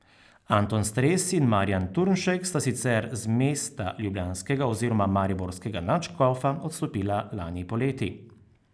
Anton Stres in Marjan Turnšek sta sicer z mesta ljubljanskega oziroma mariborskega nadškofa odstopila lani poleti.